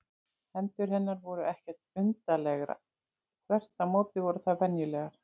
Hendur hennar voru ekkert undarlegar, þvert á móti voru þær venjulegar.